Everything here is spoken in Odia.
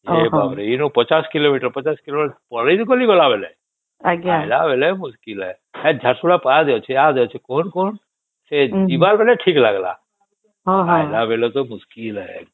ଏଇ ବାପ ରେ ୫୦ କିଲୋମେଟର ୫୦ କିଲୋମେଟର ପଳେଇ ତ ଗଲି ଗଲା ବେଳେ ଆଇଲା ବେଳେ ମୁସ୍କିଲ ହେ ଆଉ ଝାରସୁଗୁଡା ପାର କେ ଅଛେ କୋନ କୋନ ସେ ଯିବାର ବେଳେ ଠିକ ଲାଗିଲା ଏଆଇଲା ବେଳେ ତ ମୁସ୍କିଲ ହେ ଏକଦମ